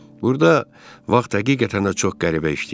Burda vaxt həqiqətən də çox qəribə işləyir.